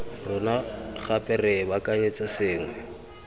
rona gape re baakanyetsa sengwe